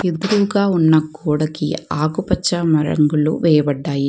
ఎద్రుగా ఉన్న గోడకి ఆకుపచ్చ మరంగులు వేయబడ్డాయి.